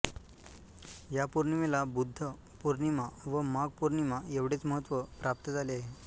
या पौर्णिमेला बुद्ध पौर्णिमा व माघ पौर्णिमा एवढेच महत्त्व प्राप्त झाले आहे